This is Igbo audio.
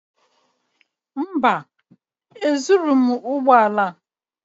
Mba, ezurughị m ụgbọ ala ya.